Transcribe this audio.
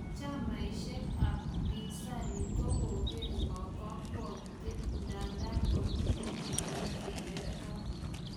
chamaishek ap pinzani ko koger ng'oo kakwautiet ndadan mamiten elekeyator